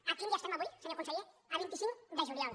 a quin dia estem avui senyor conseller a vint cinc de juliol